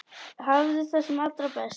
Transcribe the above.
Hafðu það sem allra best.